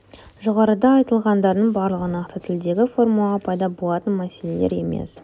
жоғарыда айтылғандардың барлығы нақты тілдегі формулаға пайда болатын мәселелер емес